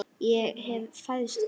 Ég hef fæðst víða.